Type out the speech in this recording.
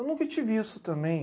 Eu nunca tive isso também.